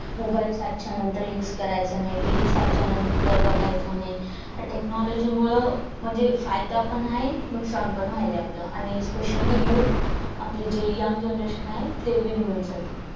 mobile सातच्या नंतर use करायचा नाही TV सातच्या नंतर बघायचा नाही अह technology मुळे म्हणजे फायदा पण आहे नुकसान पण व्हायला लागले आपल आणि specially you आपलं जे young generation आहे ते बिघडून चाललय.